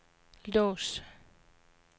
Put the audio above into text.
lås